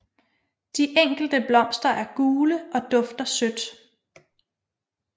De enkelte blomster er gule og dufter sødt